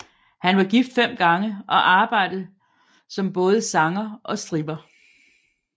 Han var gift fem gange og arbejdede som både sanger og stripper